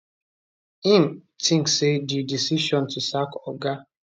im tink say di decision to sack oga